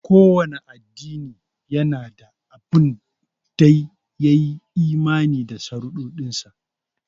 Kowanne addini yana da abun dai ya yi imani da sharuɗansa.